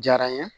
Diyara n ye